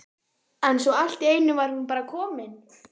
en svo allt í einu var hún bara komin!